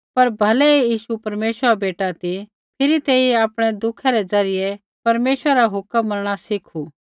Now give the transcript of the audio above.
पर भलै ही यीशु परमेश्वरा रा बेटा ती फिरी तेइयै आपणै दुःखा रै ज़रियै परमेश्वरा रा हुक्म मनणा सीखू